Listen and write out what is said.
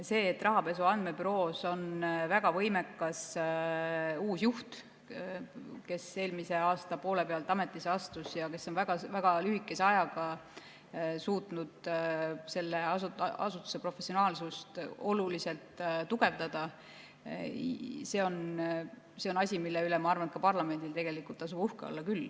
See, et Rahapesu Andmebüroos on väga võimekas uus juht, kes eelmise aasta poole pealt ametisse astus ja kes on väga lühikese ajaga suutnud selle asutuse professionaalsust oluliselt tugevdada, on asi, mille üle, ma arvan, ka parlamendil tasub uhke olla.